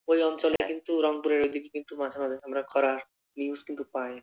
ঐ অঞ্চলে কিন্তু রংপুরে ঐদিকে কিন্তু মাঝে মাঝে আমরা খরার news কিন্তু পায়।